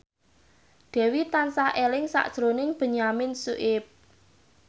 Dewi tansah eling sakjroning Benyamin Sueb